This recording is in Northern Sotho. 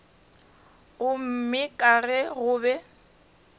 gomme ka ge go be